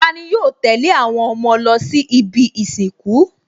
Tani yóò tẹ̀lé àwọn ọmọ lọ sí ibi ìsìnkú?